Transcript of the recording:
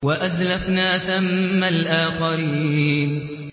وَأَزْلَفْنَا ثَمَّ الْآخَرِينَ